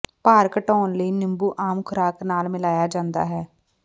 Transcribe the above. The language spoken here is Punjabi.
ਭਾਰ ਘਟਾਉਣ ਲਈ ਨਿੰਬੂ ਆਮ ਖੁਰਾਕ ਨਾਲ ਮਿਲਾਇਆ ਜਾਂਦਾ ਹੈ